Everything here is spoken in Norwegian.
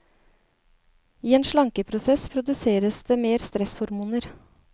I en slankeprosess produseres det mer stresshormoner.